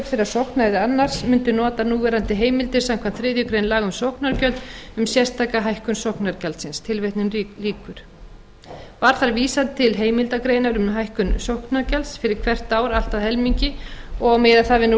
þeirra sókna er annars mundu nota núverandi heimildir samkvæmt þriðju grein laga um sóknargjöld um sérstaka hækkun sóknargjaldsins var þar vísað til heimilda greinar um hækkun sóknargjalds fyrir hvert ár allt að helmingi og miða það við